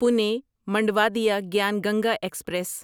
Pune Manduadih Gyan Ganga express